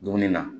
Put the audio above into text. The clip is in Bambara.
Dumuni na